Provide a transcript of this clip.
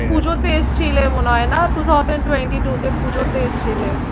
পুজোতে এসছিলে মনে হয় না two thousand twenty two তে পূজোতে এসেছিলে।